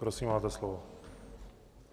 Prosím, máte slovo.